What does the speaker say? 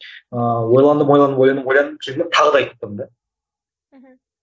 ыыы ойланып ойланып ойланып ойланып жүрдім де тағы да айттым да мхм